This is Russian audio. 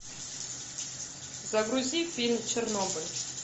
загрузи фильм чернобыль